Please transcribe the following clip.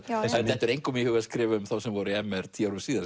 það dettur engum í hug að skrifa um þá sem voru í m r tíu árum síðar